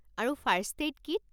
আৰু first aid kit?